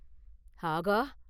“ஆகா!